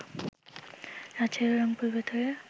রাজশাহী ও রংপুর বেতারের